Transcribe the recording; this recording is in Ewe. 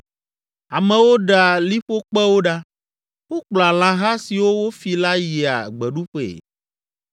Amewo ɖea liƒokpewo ɖa, wokplɔa lãha siwo wofi la yia gbeɖuƒee.